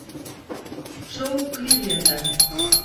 шоу кливленда